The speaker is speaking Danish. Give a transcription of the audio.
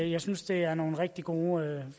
jeg synes det er nogle rigtig gode